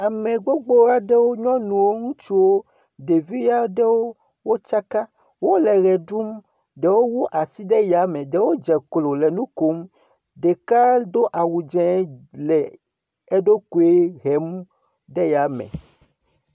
Ame gbogbo aɖewo, nyɔnuwo, ŋutsuwo, ɖevi aɖewo wotsaka, wole ʋe ɖum, ɖewo wu asi ɖe ya me, ɖewo dze klo le nu kom, ɖeka do awu dze le eɖokoe hem ɖe yame.